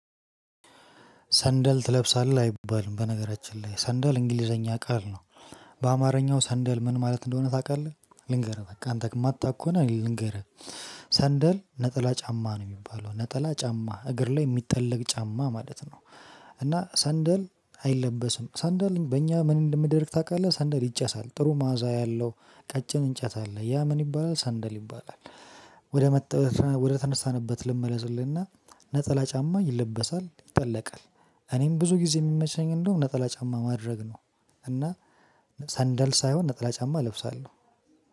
ሰንደል ትለብሳለህ አይባልም በነገራችን ላይ ሰንደል እንግሊዘኛ ቃል ነው። በአማርኛው ሰንደል ምን ማለት እንደሆነ ታውቃለህ? ልንገርህ አንተ የማታውቅ ከሆነ ልንገርህ። ሰንደል ነጠላ ጫማ ነው የሚባለው ነጠላ ጫማ እግር ላይ የሚጠለቅ ጫማ ማለት ነው። እና ሰንደል አይለበስም ሰንደል በእኛ ምን እንደምደርግ ታውቃለህ? ሰንደል ይጨሳል ጥሩ ማዛ ያለው ቀጭን እንጨት አለ ያ ምን ይባላል ሰንደል ይባላል። ወደ መጥተው ወደ ተነሳንበት ልመለስልህ እና ነጠላ ጫማ ይለበሳል ይጠለቃል። እኔም ብዙ ጊዜ የሚመቸኝ እንደውም ነጠላ ጫማ ማድረግ ነው። እና ሰንደል ሳይሆን ነጠላ ጫማ እለብሳለሁ።